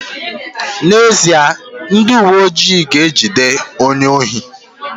N'ezie, ndị uweojii ga-ejide onye ohi